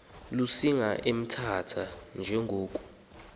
lusinga emthatha njengoko